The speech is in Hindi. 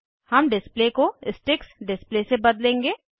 हम डिस्प्ले को स्टिक्स डिस्प्ले से बदलेंगे